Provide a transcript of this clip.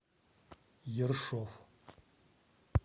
ершов